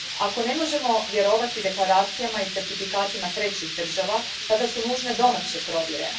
Ako ne možemo vjerovati deklaracijama i certifikatima trećih država, tada su nužne domaće provjere.